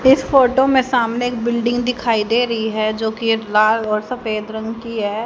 इस फोटो में सामने एक बिल्डिंग दिखाई दे रही है जो की एक लाल और सफेद रंग की है।